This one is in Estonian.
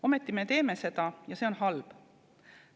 Ometi me teeme seda ja see on halb.